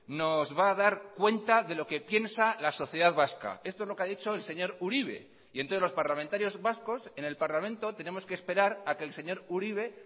nos va a dar cuenta de lo que piensa la sociedad vasca esto es lo que ha dicho el señor uribe y entonces los parlamentarios vascos en el parlamento tenemos que esperar a que el señor uribe